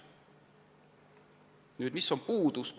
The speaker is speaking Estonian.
Millised on aga uuendusraie puudused?